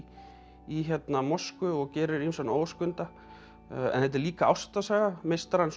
í Moskvu og gerir ýmsan óskunda en þetta er líka ástarsaga meistarans og